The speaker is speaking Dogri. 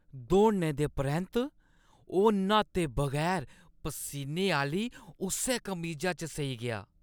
दौड़ने दे परैंत्त ओह् न्हाते बगैर परसीने आह्‌ली उस्सै कमीजा च सेई गेआ।